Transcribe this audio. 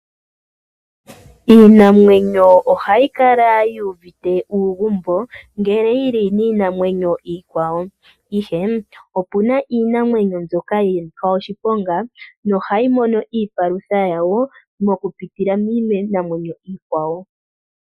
Iinamwenyo ohayi kala yu uvite uugumbo ngele yi li niinamwenyo iikwawo, ihe opu na iinamwenyo mbyoka ya nika oshiponga nohayi mono iipalutha yawo okupitila miinamwenyo iikwawo.